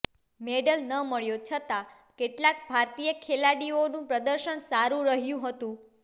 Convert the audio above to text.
medal ન મળ્યો છતા કેટલાક ભારતીય ખેલાડીઓનું પ્રદર્શન સારું રહ્યું હતું